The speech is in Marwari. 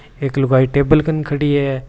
एक लुगाई टेबल कन खड़ी है।